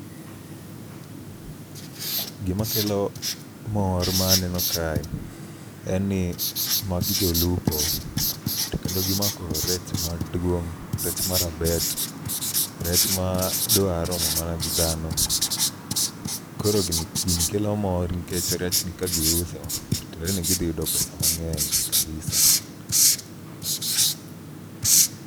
Gima kelo mor ma aneno kae en ni magi jolupo, to kendo gimako rech maduong'. Rech marabet, rech madwa romo mana gi dhano. Koro gini kelo mor nikech rechni ka giuso to tiende ni gidhi yudo pesa mang'ey kabisa.